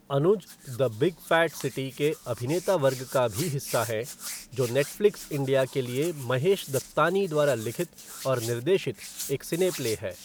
Anuj the big fat city के अभिनेता वर्ग का भी हिस्सा हैं, जो नेटफ़्लिक्स इंडिया के लिए महेश दत्तानी द्वारा लिखित और निर्देशित एक सिने प्ले है।